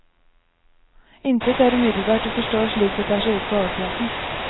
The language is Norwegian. Intet er umiddelbart å forstå slik det tar seg ut på overflaten.